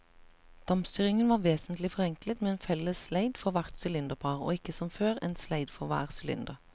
Dampstyringen var vesentlig forenklet med en felles sleid for hvert sylinderpar og ikke som før, en sleid for hver sylinder.